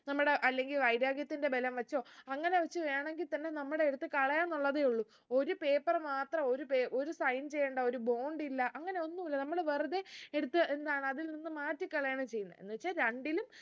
നമ്മുടെ അല്ലെങ്കിൽ വൈര്യാഗത്തിന്റെ ബലം വെച്ചോ അങ്ങനെ വെച്ച് വേണെങ്കി തന്നെ നമ്മളെ എടുത്ത് കളയാനുള്ളതേ ഉള്ളൂ ഒരു paper മാത്ര ഒരു പേ ഒരു sign ചെയ്യണ്ട ഒരു bond ഇല്ല അങ്ങനെ ഒന്നു ഇല്ല നമ്മള് വെറുതെ എടുത്ത് എന്താണ് അതിൽ നിന്ന് മാറ്റി കളയാണ് ചെയ്യുന്നെ എന്ന് വെച്ചാ രണ്ടിലും